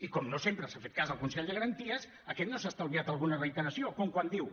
i com no sempre s’ha fet cas al consell de garanties aquest no s’ha estalviat alguna reiteració com quan diu